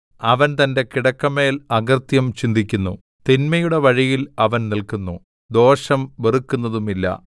അവൻ തന്റെ കിടക്കമേൽ അകൃത്യം ചിന്തിക്കുന്നു തിന്മയുടെ വഴിയിൽ അവൻ നില്ക്കുന്നു ദോഷം വെറുക്കുന്നതുമില്ല